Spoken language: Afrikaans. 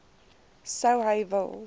sou hy wil